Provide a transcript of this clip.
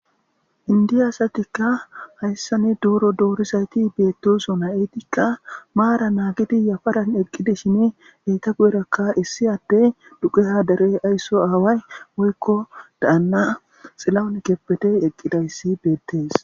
Indi asatikka hayssani duuro doorizayti beetteso na7etikka maara naagidi yafaran eqqide shine eyta gu7erakka issi atte duqe hadare aysso aaway woykko dayanna xilaunikeppete eqqidayssi beettees.